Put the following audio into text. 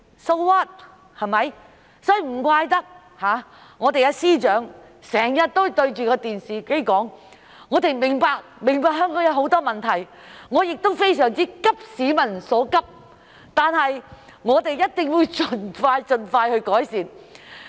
所以，難怪司長經常在電視上說："我們明白香港有很多問題，我亦非常急市民所急，我們一定會盡快改善。